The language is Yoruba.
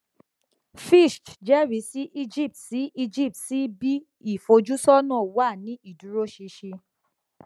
fitch jẹrisi egypt si egypt si b ìfojúsọnà wa ni ìdúróṣinṣin